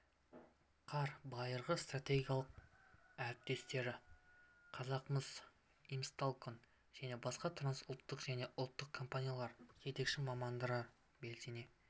қар байырғы стратегиялық әріптестері қазақмыс имсталькон және басқа трансұлттық және ұлттық компаниялардың жетекші мамандары белсене